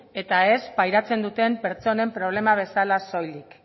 eta ez pairatzen duten pertsonen problema bezala soilik